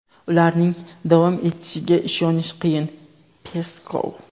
ularning davom etishiga ishonish qiyin – Peskov.